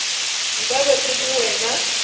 nka be ke le wena